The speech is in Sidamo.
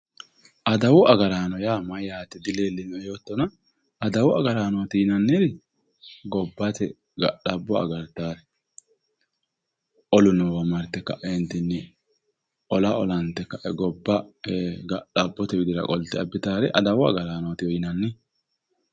adawu agaraano yaa mayyate dileelinoe yoottona adawu agaraanooti yinanniri gobbate ga'labbo agartaare olu noowa marte kaeentinni ola olante kae gobbate ga'labbo qolte abbitaare adawu agaraanootiwe yinanni.